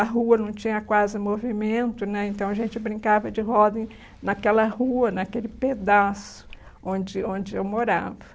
A rua não tinha quase movimento né, então a gente brincava de roda em naquela rua, naquele pedaço onde onde eu morava.